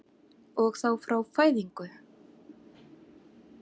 Og þá frá fæðingu?